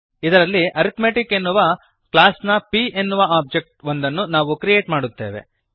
ಇದರಲ್ಲಿ ಅರಿಥ್ಮೆಟಿಕ್ ಎನ್ನುವ ಕ್ಲಾಸ್ ನ p ಎನ್ನುವ ಒಬ್ಜೆಕ್ಟ್ ಒಂದನ್ನು ನಾವು ಕ್ರಿಯೇಟ್ ಮಾಡುತ್ತೇವೆ